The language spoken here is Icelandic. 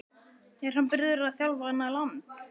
Er hann byrjaður að þjálfa annað land?